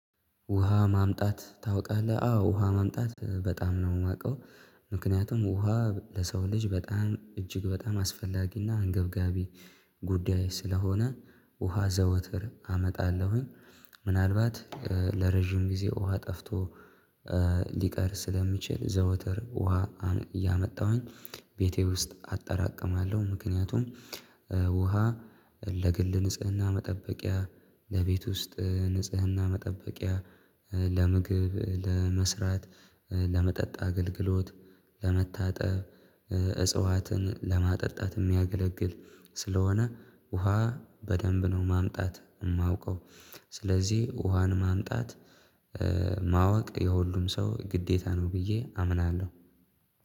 ውሃ ማምጣት ታውቃለህ አዎ ውሃ ማምጣት በጣም ነው የማውቀው። ምክንያቱም ውሃ ለሰው ልጅ በጣም እጅግ በጣም አስፈላጊና አንገብጋቢ ጉዳይ ስለሆነ ውሃ ዘወትር አመጣለሁኝ። ምናልባት ለረጅም ጊዜ ውሃ ጠፍቶ ሊቀር ስለሚችል ዘውትር ውሃ እያመጣሁኝ ቤቴ ውስጥ አጠራቅማለሁ። ምክንያቱም ውሃ ለግል ንጽህና መጠበቂያ ለቤት ውስጥ ንጽህና መጠበቂያ ለምግብ ለመስራት ለመጠጥ አገልግሎት ለመታጠብ እጽዋትን ለማጠጣት የሚያገለግል ስለሆነ ውሃ በደንብ ነው ማምጣት የማውቀው። ስለዚህ ውሃን ማምጣት ማወቅ የሁሉም ሰው ግዴታ ነው ብዬ አምናለሁ።